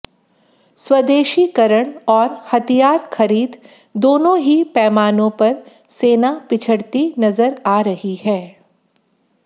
स्वदेशीकरण और हथियार खरीद दोनों ही पैमानों पर सेना पिछड़ती नजर आ रही है